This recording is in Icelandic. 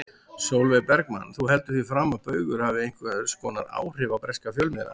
Sólveig Bergmann: Þú heldur því fram að Baugur hafi einhvers konar áhrif á breska fjölmiðla?